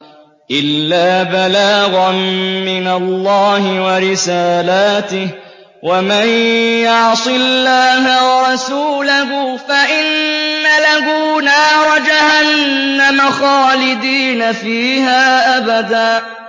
إِلَّا بَلَاغًا مِّنَ اللَّهِ وَرِسَالَاتِهِ ۚ وَمَن يَعْصِ اللَّهَ وَرَسُولَهُ فَإِنَّ لَهُ نَارَ جَهَنَّمَ خَالِدِينَ فِيهَا أَبَدًا